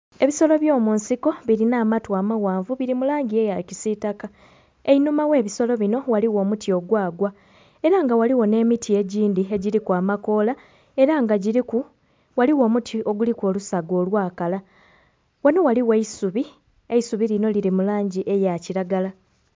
Ebisolo ebyomunsiko birina amatu amaghanvu biri mulangi eya kisitaka einhuma ogh'ebisolo bino ghaligho omuti ogwagwa era nga ghaligho n'emiti egindhi egiriku amakoola era nga giriku ghaligho omuti ogundhi oguliku olusaga olwakala. Wano ghaligho eisubi, eisubi lino liri mulangi eya kiragala.